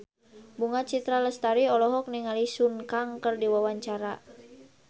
Bunga Citra Lestari olohok ningali Sun Kang keur diwawancara